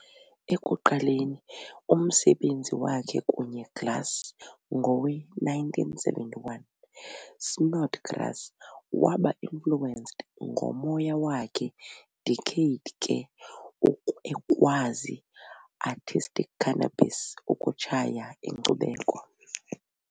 Ekuqaleni umsebenzi wakhe kunye glass ngowe-1971, Snodgrass waba influenced ngomoya wakhe decade ke ukwazi artistic cannabis ukutshaya inkcubeko.